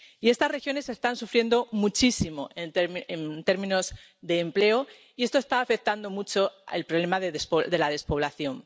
Y estas regiones están sufriendo muchísimo en términos de empleo y esto está afectando mucho al problema de la despoblación.